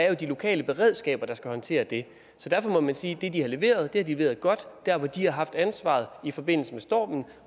jo de lokale beredskaber der skal håndtere det så derfor må man sige at det de har leveret har de leveret godt der hvor de har haft ansvaret i forbindelse med stormen